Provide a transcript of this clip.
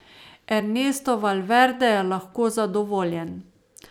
Ernesto Valverde je lahko zadovoljen.